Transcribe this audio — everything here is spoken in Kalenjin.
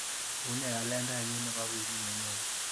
Unee kalendainyu nebo wikit nenyone?